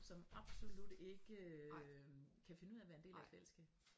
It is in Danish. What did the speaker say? Som absolut ikke øh kan finde ud af at være en del af et fællesskab